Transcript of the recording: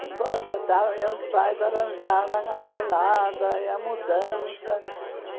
Cinco horas da tarde, eh os pais arranjaram a papelada, eh a mudança.